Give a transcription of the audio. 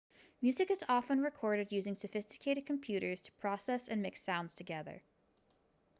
music is often recorded using sophisticated computers to process and mix sounds together